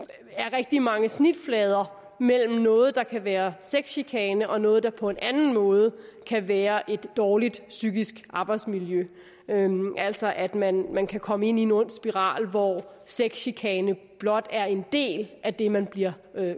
rigtig mange snitflader mellem noget der kan være sexchikane og noget der på en anden måde kan være et dårligt psykisk arbejdsmiljø altså at man man kan komme ind i en ond spiral hvor sexchikane blot er en del af det man bliver